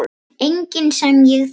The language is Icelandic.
Enginn sem ég þekki.